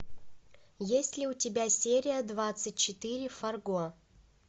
есть ли у тебя серия двадцать четыре фарго